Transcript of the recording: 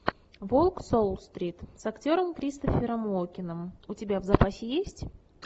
волк с уолл стрит с актером кристофером уокеном у тебя в запасе есть